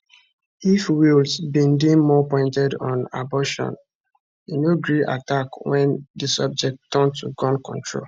if walz bin dey more pointed on abortion e no gree attack wen di subject turn to gun control